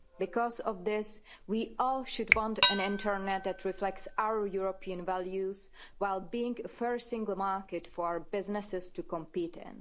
Because of this, we all should want an Internet that reflects our European values, while being a fair single market for businesses to compete in.